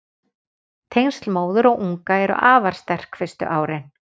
Tengsl móður og unga eru afar sterk fyrstu árin.